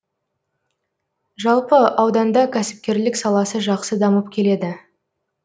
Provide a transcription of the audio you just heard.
жалпы ауданда кәсіпкерлік саласы жақсы дамып келеді